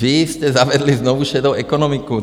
Vy jste zavedli znovu šedou ekonomiku.